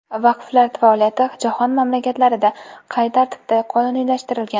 Vaqflar faoliyati jahon mamlakatlarida qay tartibda qonuniylashtirilgan?